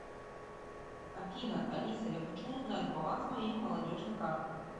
афина алиса я хочу узнать баланс моей молодежной карты